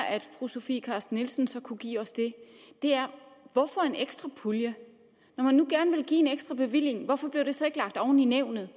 at fru sofie carsten nielsen så kunne give os det er hvorfor en ekstra pulje når man nu gerne vil give en ekstra bevilling hvorfor bliver det så ikke lagt oveni nævnets